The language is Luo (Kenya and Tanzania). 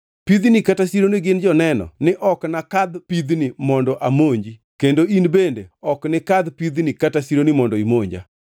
Pidhni kata sironi gin joneno ni ok nakadh pidhni mondo amonji kendo in bende ok nikadh pidhni kata sironi mondo imonja.